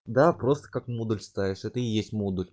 да просто как модуль ставишь это и есть модуль